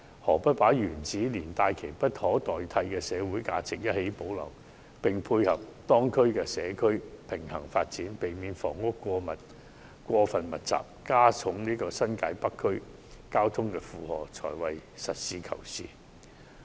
反而，把球場原址連帶其無可取代的社會價值一併保留，並配合當區的社區平衡發展，避免房屋過分密集，加重新界北區的交通負荷，才是實事求是的做法。